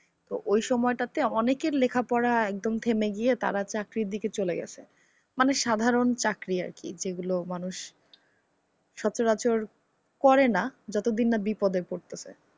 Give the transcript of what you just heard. ওই সময়টাইতে অনেকের লেখাপড়া একদম থেমে গিয়ে তারা চাকরির দিকে চলে গেছে। মানে সাধারণ চাকরি আর কি যেগুলো মানুষ, সচরাচর করেনা যতদিন না বিপদে পড়তেসে।